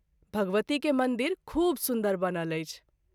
भगवती के मंदिर खूब सुन्दर बनल अछि।